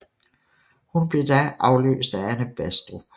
Hun blev da afløst af Anne Baastrup